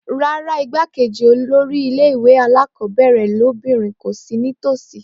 Rárá igbákejì olórí ilé ìwé alákọ̀ọ́bẹ̀rẹ̀ lóbìnrin kò sì ní tòsí